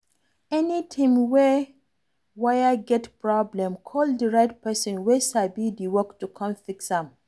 Anytime wey wire get problem, call di right person wey sabi di work to come fix am